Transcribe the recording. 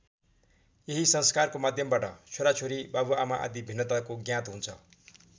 यही संस्कारको माध्यमबाट छोराछोरी बाबुआमा आदि भिन्नताको ज्ञात हुन्छ।